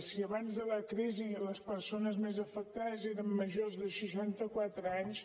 si abans de la crisi les persones més afectades eren majors de seixanta quatre anys